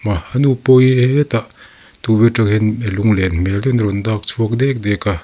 ah a nu pawh hi hetah tukverh atang hian lunglen hmel deuhin a rawn dak chhuak dek dek a.